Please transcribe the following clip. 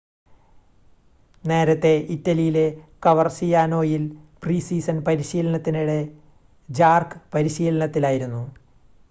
നേരത്തെ ഇറ്റലിയിലെ കവർസിയാനോയിൽ പ്രീ-സീസൺ പരിശീലനത്തിനിടെ ജാർക്ക് പരിശീലനത്തിലായിരുന്നു